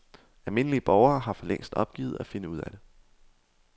Almindelige borgere har for længst opgivet at finde ud af det.